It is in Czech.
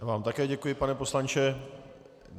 Já vám také děkuji, pane poslanče.